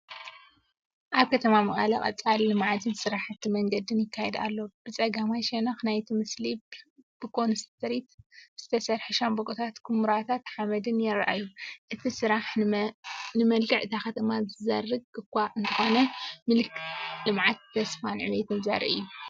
ኣብ ከተማ መቐለ ቀፃሊ ልምዓትን ስራሕቲ መንገዲን ይካየድ ኣሎ። ብጸጋማይ ሸነኽ ናይቲ ምስሊ፡ ብኮንክሪት ዝተሰርሑ ሻምብቆታትን ኵምራታት ሓመድን ይረኣዩ። እቲ ስራሕ ንመልክዕ እታ ከተማ ዝዘርግ እኳ እንተኾነ ምልክት ልምዓት፣ ተስፋን ዕብየትን ዘርኢ እዩ።